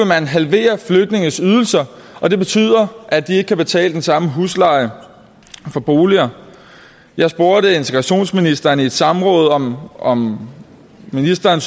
man halvere flygtninges ydelser og det betyder at de ikke kan betale den samme husleje for boliger jeg spurgte integrationsministeren i et samråd om om ministeren